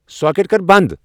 Socket کر بند ۔